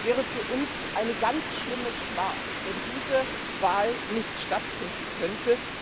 Es wäre für uns eine ganz schlimme Schmach, wenn diese Wahl nicht stattfinden könnte.